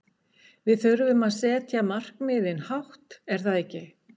Við þurfum að setja markmiðin hátt er það ekki?